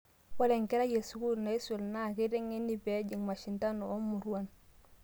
Ore enkerai e sukuul naisul naa keiteng'eni pee ejing' mashindano oo muruan